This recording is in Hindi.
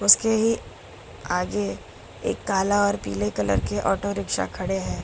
उसके ही आगे एक काला और पीले कलर के ऑटो रिक्शा खड़े है।